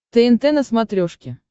тнт на смотрешке